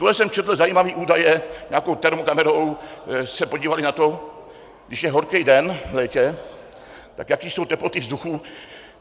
Tuhle jsem četl zajímavé údaje, nějakou termokamerou se podívali na to, když je horký den v létě, tak jaké jsou teploty vzduchu.